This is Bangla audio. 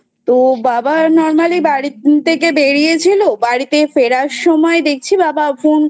তো বাবা Normally বাড়ি থেকে বেরিয়েছিল বাড়িতে ফেরার সময় দেখছি বাবা Phone